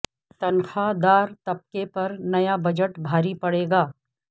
تنخواہ دار طبقے پر نیا بجٹ بھاری پڑے گا